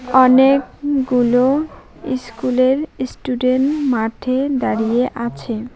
অনেকগুলো ইস্কুলের ইস্টুডেন্ট মাঠে দাঁড়িয়ে আছে।